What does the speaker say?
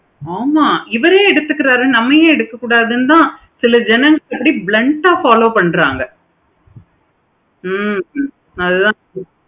ஆமா இவரே எடுத்துகிறாரு தான் நம்ம ஏன் எடுத்துக்கள்னு சில பேர் blend ஆஹ் follow பண்றாங்க ஹம் நல்ல இருக்கு.